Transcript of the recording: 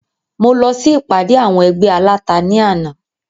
Mo lọ sí ìpàdé àwọn ẹgbẹ́ aláta ní àná